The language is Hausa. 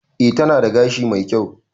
E, tana da gashi mai kyau.